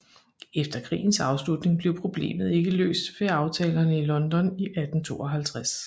Efter krigens afslutning blev problemet ikke løst ved aftalerne i London i 1852